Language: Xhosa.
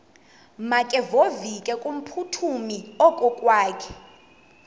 makevovike kumphuthumi okokwakhe